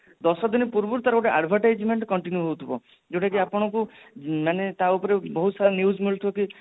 ଦଶ ଦିନ ପୂର୍ବରୁ ତାର ଗୋଟେ advertisement continue ହୋଉଥିବଯୋଉଟା କି ଆପଣଙ୍କୁ ମାନେ ତା ଉପରେ ବହୁତ ତାର news ମିଳୁଥିବ କି